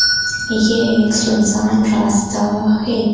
यह एक सुनसान रास्ता है।